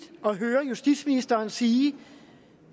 at høre justitsministeren sige